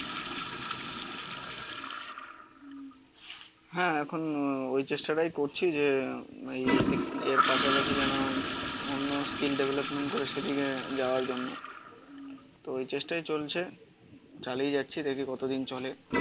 হ্যাঁ এখন ওই চেষ্টাটাই করছি যে এর পাশাপাশি যেন অন্য স্কিল ডেভেলপমেন্ট করে সেদিকে যাওয়ার জন্য. তো এই চেষ্টাই চলছে চালিয়ে যাচ্ছি দেখি কত দিন চলে